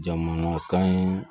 Jamana kan ye